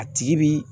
A tigi bi